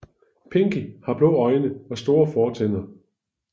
Pinky har blå øjne og store fortænder